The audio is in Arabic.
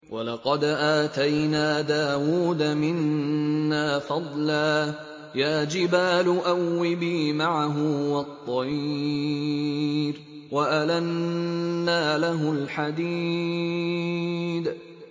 ۞ وَلَقَدْ آتَيْنَا دَاوُودَ مِنَّا فَضْلًا ۖ يَا جِبَالُ أَوِّبِي مَعَهُ وَالطَّيْرَ ۖ وَأَلَنَّا لَهُ الْحَدِيدَ